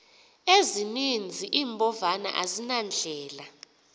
ezininzi iimbovane azinandlela